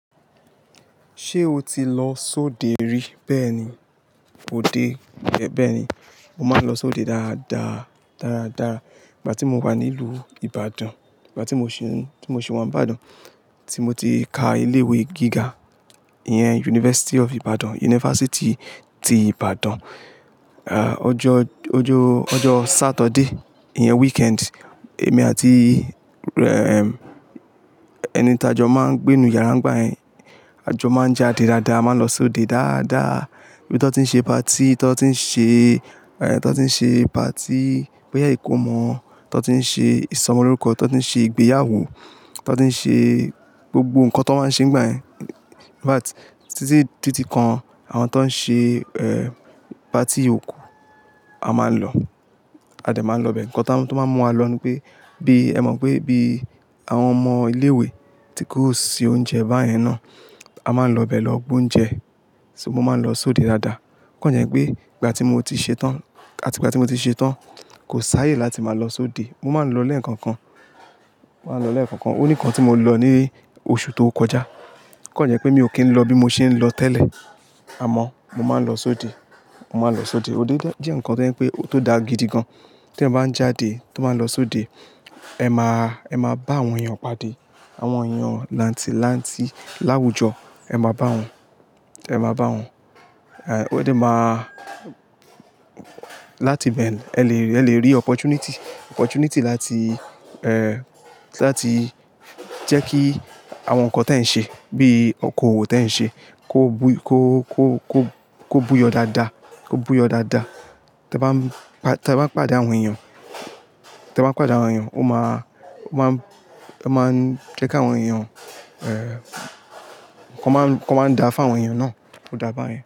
Ṣé o ti lọ sóde rí? Bẹ́ẹ̀ni, òde, bẹ́ẹ̀ni. Mo máa ń lọ sóde dáadáa, dáadáa. Ìgbà tí mo wà nílùú Ibadan, ìgbà tí mo sì ń, tí mo sì wà ní Ìbàdàn, tí mo ti ka ilé ìwé gíga, ìyẹn University of Ibadan, yunifásítì ti Ìbàdàn. À, ọjọ́, ọjọ́ Saturday, ìyẹn weekend, èmi àti, ẹ́, ẹni ta jọ máa ń gbé inú yàrá ń gbà yẹn. A jọ máa ń jáde dáadáa, a máa ń lọ sóde dáadáa. Ibí tọ tí ń ṣe party, tọ tí ń ṣe, tọ tí ń ṣe party, bóyá ìkómọ, tọ tí ń ṣe ìsọmọlórúkọ, tọ tí ń ṣe ìgbéyàwó, tọ tí ń ṣe gbogbo nǹkan tó máa ń ṣe nígbà yẹn. In fact, títí di ti kan, àwọn tó ń ṣe, ẹ́, party òkú, a máa ń lọ. A dè máa ń lọ bẹ́ẹ̀. Ǹkan tó máa ń mú wa lọ ni pé, bí, ẹ mọ̀ pé bí àwọn ọmọ ilé ìwé tí kò ṣì oúnjẹ báyẹn náà, a máa ń lọ bẹ́ẹ̀ lọ gbé oúnjẹ. Ṣo mo máa ń lọ sóde dáadáa? Ó kàn jẹ́ pé ìgbà tí mo ti ṣetán, àti ìgbà tí mo ti ṣetán, kò sááyé láti máa lọ sóde. Mo máa ń lọ lẹ́ẹ̀kan kan. Mo máa ń lọ lẹ́ẹ̀kan kan. Ó ní ìkan tí mo lọ ní oṣù tó kọjá. Ó kàn jẹ́ pé mi ò kí ń lọ bí mo ṣe ń lọ tẹ́lẹ̀. Àmọ́ mo máa ń lọ sóde. Mo máa ń lọ sóde. Óde jẹ́ ǹkan tó ń pé, tó da gidi gan. Tí ẹ bá ń jáde, to bá ń lọ sóde, ẹ máa, ẹ máa bá àwọn èèyàn pàdé. Àwọn èèyàn làǹtì, làǹtì, láwùjọ, ẹ máa bá wọn. Ẹ máa bá wọn. Ẹ̀, ó de máa-- láti ibẹ̀, ẹ lè rí, ẹ lè rí opportunity, opportunity láti, ẹ́, láti jẹ́ kí àwọn ǹkan tí ẹ̀ ń ṣe, bíi okòwò tí ẹ̀ ń ṣe, kó bu, kó, kó, kó, kó buyọ́ dáadáa. Kó buy ọ́ dáadáa. Tí ẹ bá ń, tí ẹ bá ń pàdé àwọn èèyàn, tí ẹ bá ń pàdé àwọn èèyàn, ó máa, ó máa ń, ẹ máa ń jẹ́ kí àwọn èèyàn, ẹ́, kó máa ń, kó máa ń dá fún àwọn èèyàn náà. Ó dáa bayen.